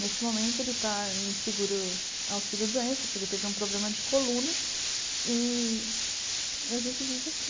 Nesse momento ele está em seguro auxílio-doença porque ele teve um problema de coluna e a gente vive assim.